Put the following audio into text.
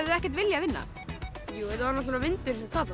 ekkert viljað vinna jú þetta var vindurinn sem tapaði